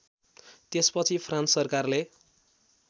त्यसपछि फ्रान्स सरकारले